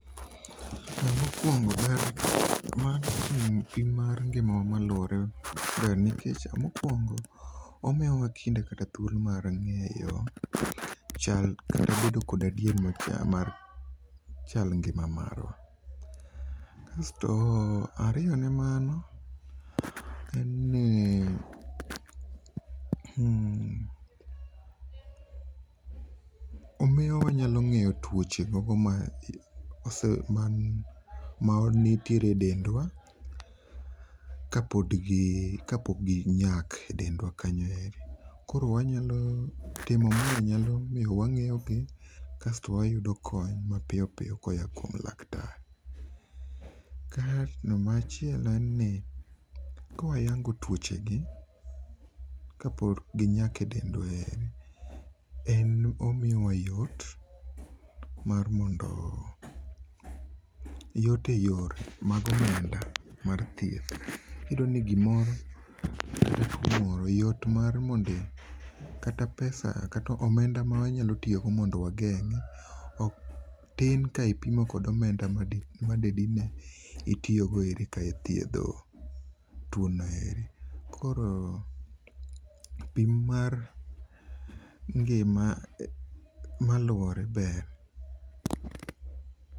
Mokuongo ber mar pimo ngimawa maluore ber nikech mokuongo omiyowa kinde kata thuolo mar ngeyo chal, kata bedo kod adieri mar chal ngima marwa, Asto ariyo ne mano en ni, omiyowa wanyalo ngeyo tuoche ma nitiere e dendwa kapok ginyak e dendwa kanyo ero. Koro wanyalo, timo mae nyalo miyo wangeyo kasto wayudo kony mapiyo koa kuom laktar. Machielo en ni kawayuango tuoche gi kapok ginyak e dendwa en ni omiyowa yot mar mondo ,yot e yor mag omenda mar thieth. Iyudo ni gimoro yot mar, mondi, kata pesa, omenda ma wanyalo tiyo go mondo wageng, tin kawatiyo go gi omenda made itiyo go e thiedho tuo noeri. Koro pim mar ngima maluore ber.